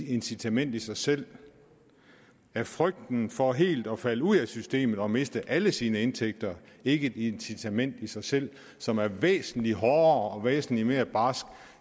incitament i sig selv er frygten for helt at falde ud af systemet og miste alle sine indtægter ikke et incitament i sig selv som er væsentlig hårdere og væsentlig mere barsk